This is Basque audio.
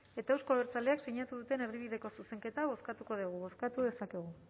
eta euzko abertzaleak sinatu duten erdibideko zuzenketa bozkatuko dugu bozkatu dezakegu